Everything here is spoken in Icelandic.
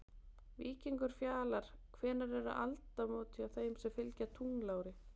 Víkingur Fjalar Hvenær eru áramót hjá þeim sem fylgja tunglári?